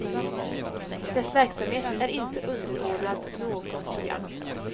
Dess verksamhet är inte underordnad något program.